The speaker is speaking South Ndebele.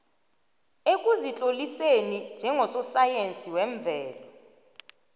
ekuzitloliseni njengososayensi wemvelo